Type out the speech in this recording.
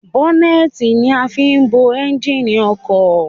Bọ́nẹ́ẹ́tì ni a fin ń bo ẹnjìnì ọkọ̀